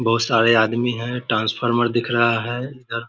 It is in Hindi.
बहुत सारे आदमी है ट्रांसफार्मर दिख रहा है इधर --